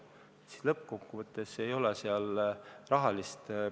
Siis lõppkokkuvõttes ei ole seal rahalist protsendivahet.